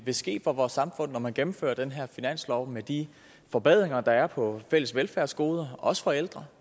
vil ske for vores samfund når man gennemfører den her finanslov med de forbedringer der er på fælles velfærdsgoder også for ældre